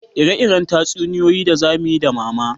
Ire-iren tatsuniyoyi za muyi da mama